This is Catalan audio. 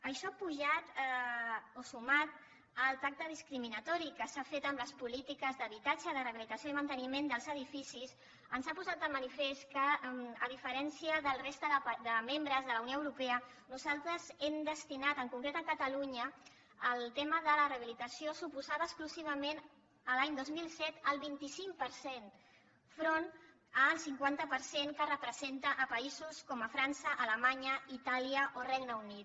això pujat o sumat al tracte discriminatori que s’ha fet en les polítiques d’habitatge de rehabilitació i manteniment dels edificis ens ha posat de manifest que a diferència de la resta de membres de la unió europea nosaltres hem destinat en concret a catalunya el tema de la rehabilitació suposava exclusivament l’any dos mil set el vint cinc per cent davant el cinquanta per cent que representa a països com frança alemanya itàlia o el regne unit